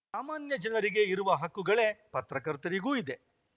ಸಾಮಾನ್ಯ ಜನರಿಗೆ ಇರುವ ಹಕ್ಕುಗಳೇ ಪತ್ರಕರ್ತರಿಗೂ ಇದೆ